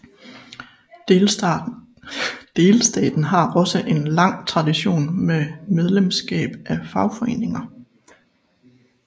Delstaten har også en lang tradition med medlemskab af fagforeninger